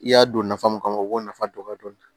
I y'a don nafa mun kama o b'o nafa dɔn ka dɔn